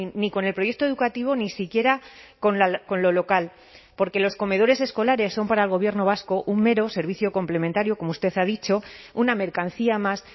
ni con el proyecto educativo ni siquiera con lo local porque los comedores escolares son para el gobierno vasco un mero servicio complementario como usted ha dicho una mercancía más